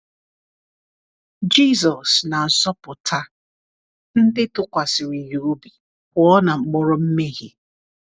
Jisọs na-azọpụta ndị tụkwasịrị Ya obi pụọ na mkpọrọ mmehie.